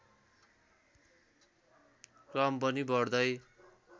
क्रम पनि बढ्दै